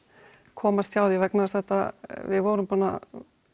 komast hjá því vegna þess að þetta við vorum búin að